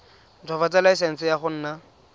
ntshwafatsa laesense ya go nna